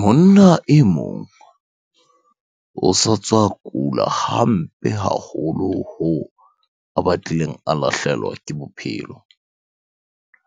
Monna e mong o sa tswa kula hampe haholo hoo a batlileng a lahlehelwa ke bophelo.